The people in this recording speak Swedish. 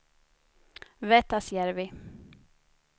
Vettasjärvi